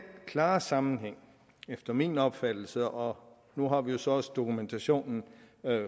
klare sammenhæng efter min opfattelse og nu har vi så også dokumentationen